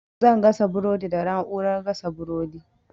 Zan gasa burodi da na'urar gasa burodi.